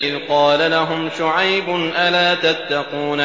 إِذْ قَالَ لَهُمْ شُعَيْبٌ أَلَا تَتَّقُونَ